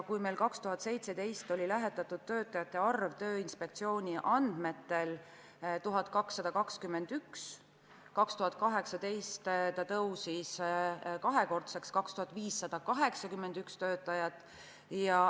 Kui meil aastal 2017 oli lähetatud töötajate arv Tööinspektsiooni andmetel 1221, siis 2018 see tõusis kahekordseks: 2581 töötajat.